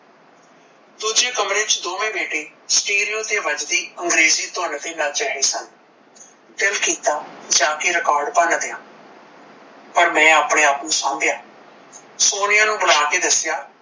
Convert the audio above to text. ਦੂਜੇ ਕਮਰੇ ਵਿੱਚ ਦੋਨੇ ਬੇਟੇ ਸਟੇਰਿਓ ਤੇ ਵੱਜਦੀ ਅੰਗਰੇਜੀ ਧੁਨ ਤੇ ਨੱਚ ਰਹੇ ਸਨ ਦਿਲ ਕੀਤਾ ਜਾਂ ਕੇ ਰਿਕਾਰਡ ਭੰਨ ਦਿਆ ਪਰ ਮੈਂ ਆਪਣੇ ਆਪ ਨੂੰ ਸਾਂਭਿਆ ਸੋਨੀਆ ਨੂੰ ਬੁਲਾ ਕੇ ਦੱਸਿਆ